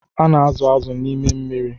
A na-azụ̀ azụ̀ na n'ime mmiri.